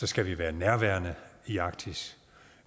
skal være nærværende i arktis